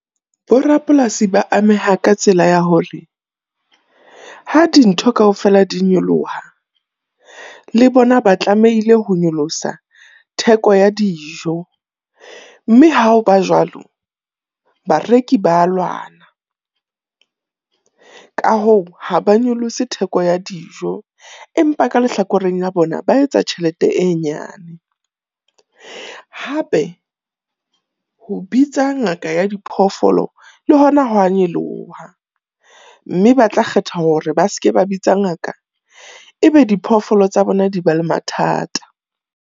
Bo rapolasi ba ameha ka tsela ya hore ha dintho kaofela di nyoloha le bona ba tlamehile ho nyolosa theko ya dijo. Mme ha ho ba jwalo, bareki ba lwana. Ka hoo ha ba nyolose theko ya dijo empa ka lehlakoreng la bona ba etsa tjhelete e nyane. Hape ho bitsa ngaka ya diphoofolo le hona ho a nyoloha, mme ba tla kgetha hore ba seke ba bitsa ngaka e be diphoofolo tsa bona di ba le mathata.